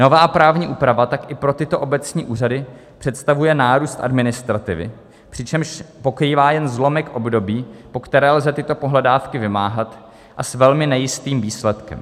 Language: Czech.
Nová právní úprava tak i pro tyto obecní úřady představuje nárůst administrativy, přičemž pokrývá jen zlomek období, po které lze tyto pohledávky vymáhat, a s velmi nejistým výsledkem.